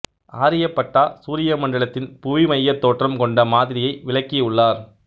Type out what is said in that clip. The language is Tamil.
ஆர்யபட்டா சூரிய மண்டலத்தின் புவிமையத் தோற்றம் கொண்ட மாதிரியை விளக்கி உள்ளார்